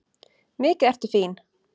Mikið ertu fín!